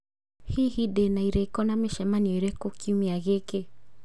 Hihi ndĩ na irĩko na mĩcemanio ĩrĩkũ kiumia gĩkĩ?